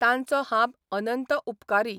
तांचो हांब अनंत उपकारी.